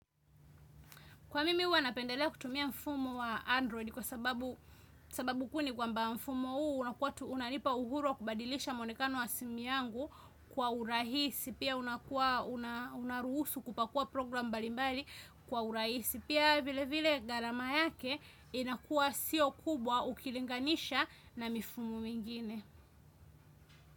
Kwa mimi huwa napendelea kutumia mfumo wa Android kwa sababu kuu ni kwamba mfumo huu unanipa uhuru wa kubadilisha muonekano wa simu yangu kwa urahisi. Pia unaruhusu kupakua program mbalimbali kwa urahisi. Pia vile vile gharama yake inakuwa sio kubwa ukilinganisha na mifumo mingine.